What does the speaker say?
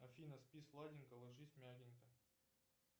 афина спи сладенько ложись мягенько